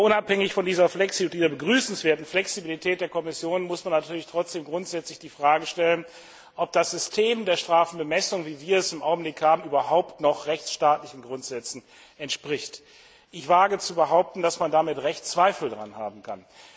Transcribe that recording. Aber unabhängig von dieser begrüßenswerten Flexibilität der Kommission muss man natürlich trotzdem grundsätzlich die Frage stellen, ob das System der Strafbemessung, wie wir es im Augenblick haben, überhaupt noch rechtsstaatlichen Grundsätzen entspricht. Ich wage zu behaupten, dass man Zweifel daran haben kann.